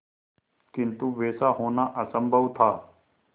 किंतु वैसा होना असंभव था